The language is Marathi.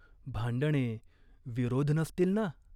भांडणे, विरोध नसतील ना ?